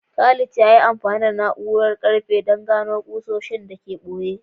Khalid ya yi amfani da na’urar gano karfe don gano ƙusoshi da ke ɓoye.